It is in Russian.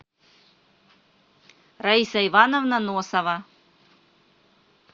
раиса ивановна носова